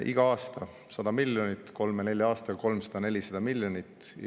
Iga aasta 100 miljonit, kolme-nelja aastaga 300–400 miljonit.